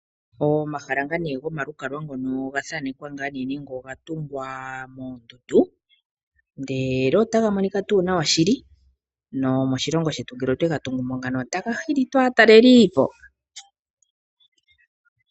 Omahala ngaa nee gomalukalwa ngono ogathaanekwa ngaa nee nenge oga tungwa moondundu ndele otaga monika tuu nawa shili, nomoshilongo shetu ngele otwega tungu mo ngano taga hili tuu aataleliipo.